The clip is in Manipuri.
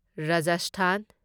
ꯔꯥꯖꯁꯊꯥꯟ